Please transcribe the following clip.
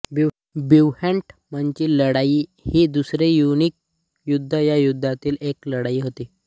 बिव्हेंटमची लढाई ही दुसरे प्युनिक युद्ध या युद्धातील एक लढाई होती